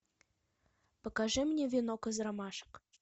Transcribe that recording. покажи мне венок из ромашек